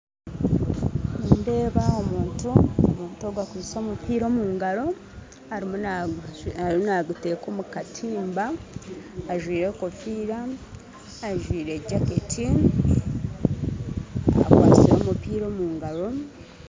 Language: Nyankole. Nindeeba omuntu. Omuntu ogwe akwitse omupiira omungaro arumu naguteeka omukatimba ajwire enkofiira ajwire jacket akwatsire omupiira omungaro.